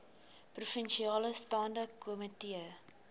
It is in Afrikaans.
provinsiale staande komitee